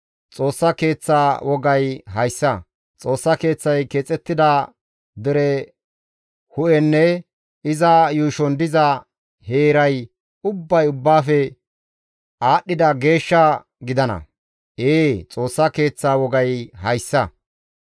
Xoossa Keeththaa wogay hayssa: Xoossa Keeththay keexettida dere hu7eynne iza yuushon diza heeray ubbay ubbaafe aadhdhida geeshsha gidana. Ee, Xoossa Keeththa wogay hayssa.